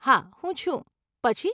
હા હું છું, પછી?